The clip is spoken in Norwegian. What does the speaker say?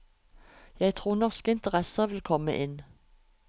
Jeg tror norske interesser vil komme inn.